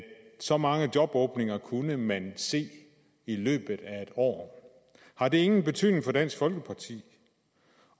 så mange jobåbninger kunne man se i løbet af et år har det ingen betydning for dansk folkeparti